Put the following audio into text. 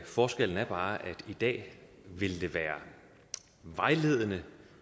forskellen er bare at i dag vil det være vejledende